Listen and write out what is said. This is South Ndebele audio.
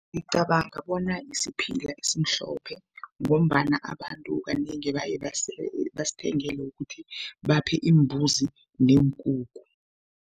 Ngicabanga bona isiphila esimhlophe ngombana abantu kanengi baye basithengele ukuthi baphe imbuzi neenkukhu.